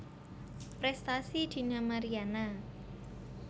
Prestasi Dina Mariana